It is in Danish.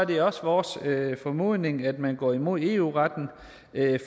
det også vores formodning at man går imod eu retten